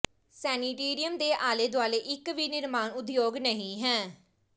sanatorium ਦੇ ਆਲੇ ਦੁਆਲੇ ਇਕ ਵੀ ਨਿਰਮਾਣ ਉਦਯੋਗ ਨਹੀਂ ਹੈ